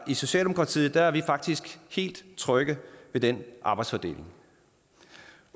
i socialdemokratiet er vi faktisk helt trygge ved den arbejdsfordeling